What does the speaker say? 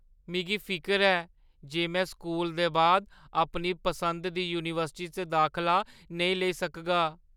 मिगी फिकर ऐ जे में स्कूलै दे बाद अपनी पसंदा दी यूनीवर्सिटी च दाखला नेईं लेई सकगा।